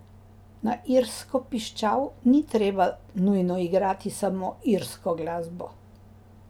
Na irsko piščal ni treba nujno igrati samo irsko glasbo.